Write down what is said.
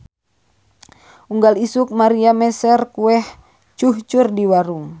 Unggal isuk Maria meser kueh cuhcur di warung